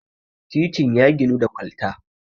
titin ya ginu da kwalta